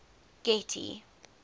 getty